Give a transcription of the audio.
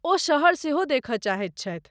ओ शहर सेहो देखय चाहैत छथि।